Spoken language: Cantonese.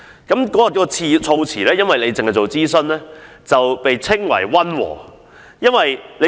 該項議案的措辭只是要求政府進行諮詢，因而被稱為溫和。